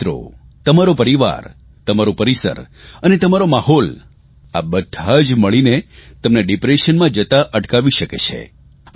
તમારા મિત્રો તમારૂં પરિવાર તમારૂં પરિસર અને તમારો માહોલ આ બધાં જ મળીને તમને ડિપ્રેશનમાં જતા અટકાવી શકે છે